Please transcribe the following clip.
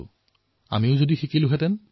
যদি আমি এয়া শিকি থলোহেঁতেন